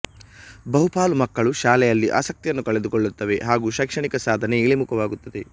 ಬಹುಪಾಲು ಮಕ್ಕಳು ಶಾಲೆಯಲ್ಲಿ ಆಸಕ್ತಿಯನ್ನು ಕಳೆದುಕೊಳ್ಳುತ್ತವೆ ಹಾಗು ಶೈಕ್ಷಣಿಕ ಸಾಧನೆ ಇಳಿಮುಖವಾಗುತ್ತದೆ